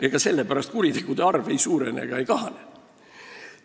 Ega sellepärast kuritegude arv ei suurene ega kahane.